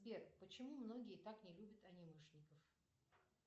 сбер почему многие так не любят анимешников